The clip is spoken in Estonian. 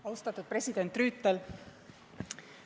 Austatud president Rüütel!